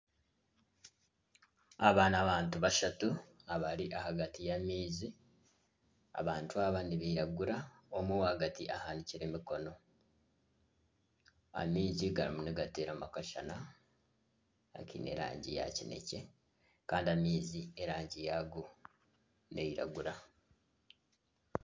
Aba ni abantu bashatu abari ahagati y'amaizi. Abantu aba nibiragura. Omwe ow'ahagati ahanikire emikono. Amaizi garimu nigaterwamu akashana akiine erangi ya kinekye kandi amaizi erangi yago neyiragura.